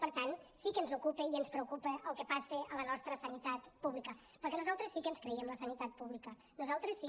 per tant sí que ens ocupa i ens preocupa el que passa a la nostra sanitat pública perquè nosaltres sí que ens creiem la sanitat pública nosaltres sí